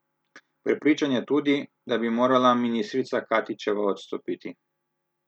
Prepričan je tudi, da bi morala ministrica Katičeva odstopiti.